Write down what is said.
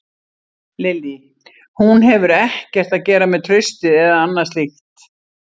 Lillý: Hún hefur ekkert að gera með traustið eða annað slíkt?